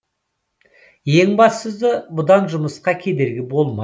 ең бастысы бұдан жұмысқа кедергі болмайды